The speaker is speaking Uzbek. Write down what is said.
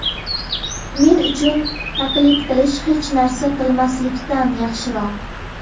Men uchun taqlid qilish hech narsa qilmaslikdan yaxshiroq.